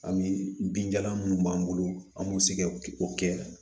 Ani binjalan minnu b'an bolo an b'o se kɛ o kɛ